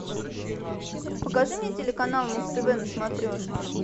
покажи мне телеканал муз тв на смотрешке